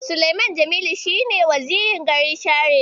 Sulaiman Jami'u shi ne Wazirin garin Share.